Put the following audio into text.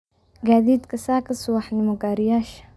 gaadiidka saaka subax nimo gariyash